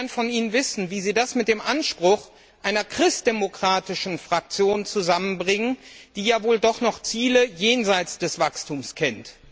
Ich würde gern von Ihnen wissen, wie Sie das mit dem Anspruch einer christdemokratischen Fraktion zusammenbringen, die ja wohl doch noch Ziele jenseits des Wachstums kennt.